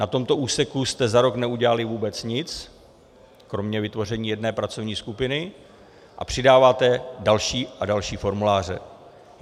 Na tomto úseku jste za rok neudělali vůbec nic kromě vytvoření jedné pracovní skupiny a přidáváte další a další formuláře.